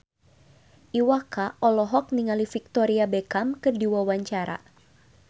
Iwa K olohok ningali Victoria Beckham keur diwawancara